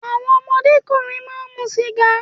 Àwọn ọmọdé ọkùnrin máa mu sìgá.